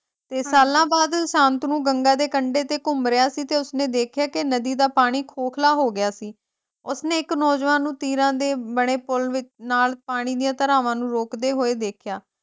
ਤੇ ਸਾਲਾਂ ਬਾਅਦ ਸ਼ਾਂਤਨੂ ਗੰਗਾ ਦੇ ਕੰਢੇ ਤੇ ਘੁੰਮ ਰਿਹਾ ਸੀ ਤੇ ਉਸਨੇ ਦੇਖਿਆ ਕਿ ਨਦੀ ਦਾ ਪਾਣੀ ਖੋਖਲਾ ਹੋ ਗਿਆ ਸੀ, ਉਸਨੇ ਇੱਕ ਨੌਜਵਾਨ ਨੂੰ ਤੀਰਾਂ ਦੇ ਬਣੇ ਪੁੱਲ ਵਿੱਚ ਨਾਲ ਪਾਣੀ ਦੀਆਂ ਧਰਾਵਾਂ ਨੂੰ ਰੋਕਦੇ ਹੋਏ ਦੇਖਿਆ।